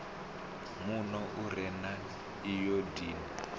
muno u re na ayodini